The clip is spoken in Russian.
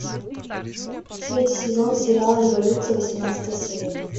третий сезон сериала революция восемнадцатая серия